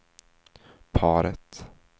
paret